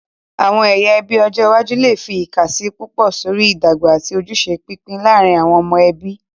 Àwọn ẹyà ẹbí ọjọ iwájú lè fi ìkàsí púpọ̀ sórí ìdọ́gba àti ojúṣe pípín láàárín àwọn ọmọ ẹbí.